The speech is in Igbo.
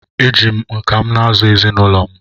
eji m nka m na-azụ ezinụlọ m